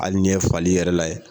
Hali n'i ye fali yɛrɛ lajɛ